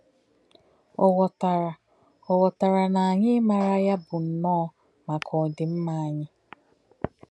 Ọ̀ ghọ̀tárà Ọ̀ ghọ̀tárà na ànyí̄ ímárà yā bụ nnọ́ọ̄ má̄kà òdìm̄mà̄ ànyí̄.